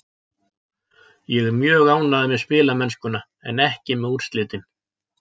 Ég er mjög ánægður með spilamennskuna en ekki með úrslitin.